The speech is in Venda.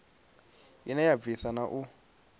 ine ya bvisa na u